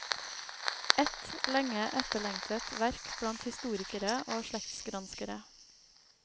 Et lenge etterlengtet verk blant historikere og slektsgranskere.